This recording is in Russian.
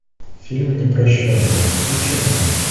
фильм непрощенный включи мне